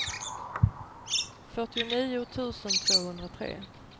fyrtionio tusen tvåhundratre